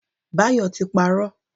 Bayo ti parọ́.